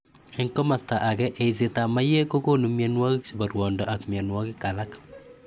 Eng' komasta ake ,,eisetap maiyek kokonu mianwokik chebk ruondo ak mianwokikik alak